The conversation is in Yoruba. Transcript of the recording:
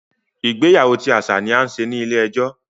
Ìgbéyàwó ti aṣa ni a ń ṣe ni ile-ẹjọ.